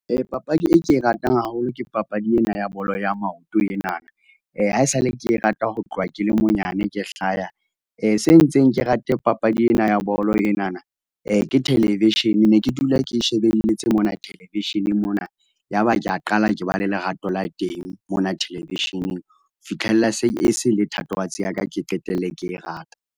Papadi e ke e ratang haholo ke papadi ena ya bolo ya maoto enana, ha e sa le ke e rata ho tloha ke le monyane, ke hlaya. Se entseng ke rate papadi ena ya bolo enana, ke television, ne ke dula ke e shebelletse mona television-eng mona. Ya ba ke a qala ke ba le lerato la teng mona television-eng, fitlhella se, e se e le thatohatsi ya ka, ke qetelle ke e rata.